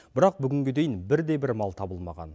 бірақ бүгінге дейін бірде бір мал табылмаған